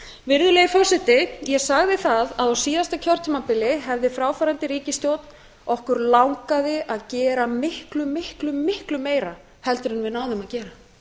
virðulegi forseti ég sagði það að á síðasta kjörtímabili hefði fráfarandi ríkisstjórn okkur langaði að gera miklu miklu miklu meira heldur en við náðum að gera